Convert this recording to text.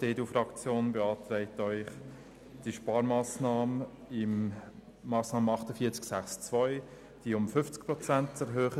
Die EDU-Fraktion beantragt Ihnen, die Sparmassnahme bei der Massnahme 48.6.2 um 50 Prozent zu erhöhen.